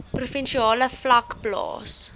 provinsiale vlak plaas